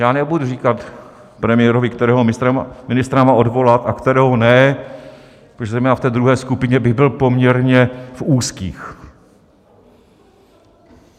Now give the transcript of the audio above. Já nebudu říkat premiérovi, kterého ministra má odvolat a kterého ne, protože zejména v té druhé skupině bych byl poměrně v úzkých.